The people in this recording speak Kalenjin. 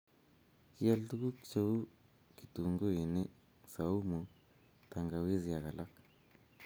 Kial tukuk che uu kitunguini, saumu , tangawizi ak alak.